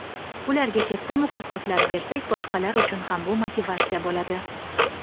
Ularga katta mukofotlar bersak boshqalar uchun ham bu motivatsiya bo‘ladi.